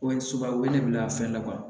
Ko suba wele a fɛn na wa